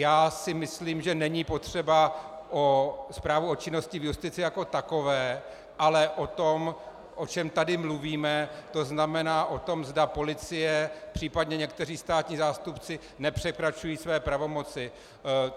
Já si myslím, že není potřeba zprávu o činnosti v justici jako takové, ale o tom, o čem tady mluvíme, to znamená o tom, zda policie a případně někteří státní zástupci nepřekračují své pravomoci.